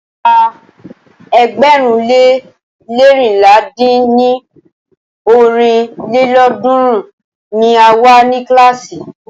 Àwa ẹgbẹ̀rún le leérinlá dín ní ọ́rin lélọ́ọ̀dúnrún ni a wa ni kílàásì.